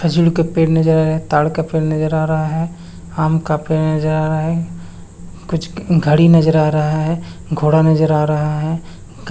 खजूर के पेड़ नजर आ रहा है ताड़ का पेड़ नजर आ रहा है आम का पेड़ नजर आ रहा है कुछ घड़ी नजर आ रहा है घोड़ा नजर आ रहा है गा--